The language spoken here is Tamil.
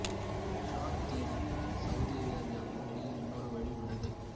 டிரான் தீவுக்கும் சவூதி அரேபியாவுக்கும் இடையில் இன்னெரு வழி உள்ளது